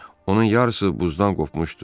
Onun yarısı buzdan qopmuşdu.